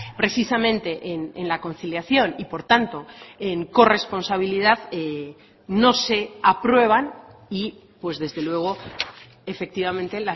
precisamente en la conciliación y por tanto en corresponsabilidad no se aprueban y desde luego efectivamente